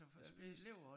Blev spist